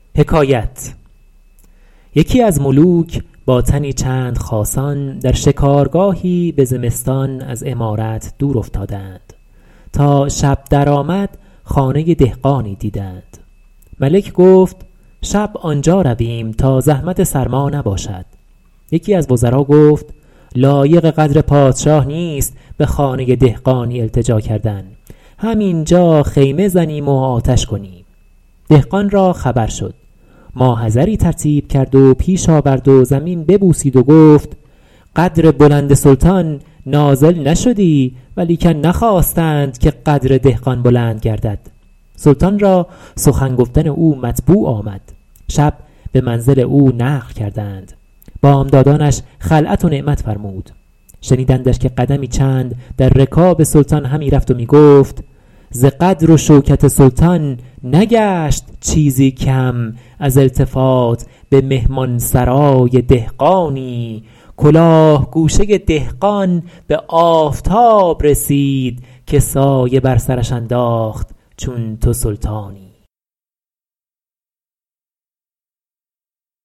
یکی از ملوک با تنی چند خاصان در شکارگاهی به زمستان از عمارت دور افتادند تا شب در آمد خانه دهقانی دیدند ملک گفت شب آنجا رویم تا زحمت سرما نباشد یکی از وزرا گفت لایق قدر پادشاه نیست به خانه دهقانی التجا کردن هم اینجا خیمه زنیم و آتش کنیم دهقان را خبر شد ما حضری ترتیب کرد و پیش آورد و زمین ببوسید و گفت قدر بلند سلطان نازل نشدی ولیکن نخواستند که قدر دهقان بلند گردد سلطان را سخن گفتن او مطبوع آمد شبانگاه به منزل او نقل کردند بامدادانش خلعت و نعمت فرمود شنیدندش که قدمی چند در رکاب سلطان همی رفت و می گفت ز قدر و شوکت سلطان نگشت چیزی کم از التفات به مهمان سرای دهقانی کلاه گوشه دهقان به آفتاب رسید که سایه بر سرش انداخت چون تو سلطانی